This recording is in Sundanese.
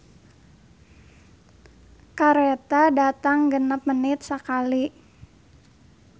"Kareta datang genep menit sakali"